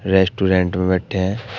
Restaurant में बैठे हैं।